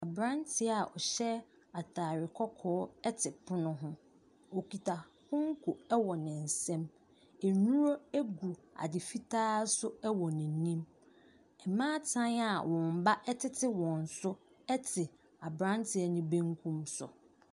Aberanteɛ a ɔhyɛ atade kɔkɔɔ te pono ho. Ɔkita konko wɔ ne nsam. Nnuro gu ade fitaa so wɔ n'anim. Maata a wɔn mma tete wɔn so te aberanteɛ no benkum so.